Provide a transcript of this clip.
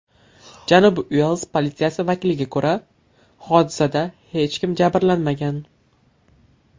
Janubiy Uels politsiyasi vakiliga ko‘ra, hodisada hech kim jabrlanmagan.